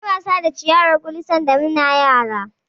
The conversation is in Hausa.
Munyi wasa da ciyawar gulu sanda muna yara.